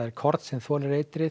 korn sem þolir eitrið